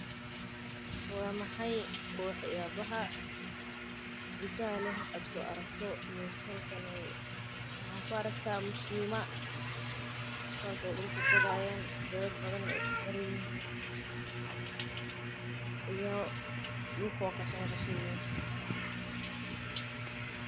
Waa maxay wax yaabaha xiisaha leh oo aad ku aragto halkan waxaan arkaa mishima dulka qodi haayan iyo dulka oo qashin leh.